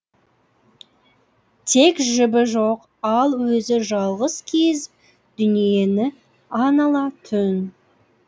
тек жібі жоқ ал өзі жалғыз кезіп дүниені анала түн